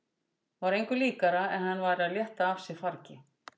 Var engu líkara en hann væri að létta af sér fargi.